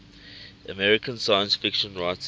american science fiction writers